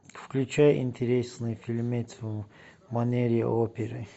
включай интересный фильмец в манере оперы